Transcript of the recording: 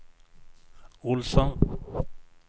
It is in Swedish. Olsson